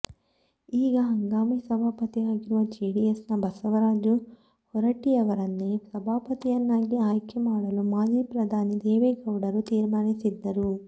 ಈಗ ಹಂಗಾಮಿ ಸಭಾಪತಿ ಆಗಿರುವ ಜೆಡಿಎಸ್ನ ಬಸವರಾಜು ಹೊರಟ್ಟಿಯವರನ್ನೇ ಸಭಾಪತಿಯನ್ನಾಗಿ ಆಯ್ಕೆ ಮಾಡಲು ಮಾಜಿ ಪ್ರಧಾನಿ ದೇವೇಗೌಡರು ತೀರ್ಮಾನಿಸಿದ್ದರು